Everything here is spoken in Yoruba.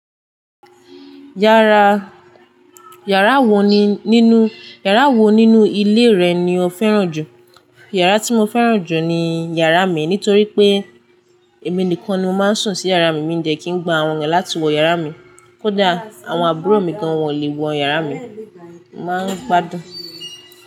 Yàrá, yàrá wo nínú, yàrá wo nínú ilé rẹ̀ ni ó fẹ́ràn jù? Yàrá tí mo fẹ́ràn jù ni yàrá mi nítorí pé èmi nìkan ni mó máa ń sùn sí yàrá mi, mí dẹ̀ kí ń gba àwọn èeyàn láti wọ yàrá mi. Kódà àwọn àbúrò mi gan won lè wọ yàrá mi. Mo máa ń gbádùn.